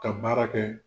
Ka baara kɛ